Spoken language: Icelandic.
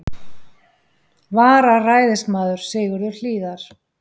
vararæðismaður, Sigurður Hlíðar.